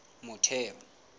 motheo